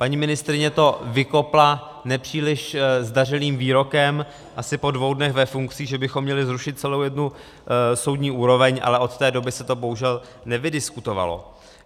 Paní ministryně to vykopla nepříliš zdařilým výrokem asi po dvou dnech ve funkci, že bychom měli zrušit celou jednu soudní úroveň, ale od té doby se to bohužel nevydiskutovalo.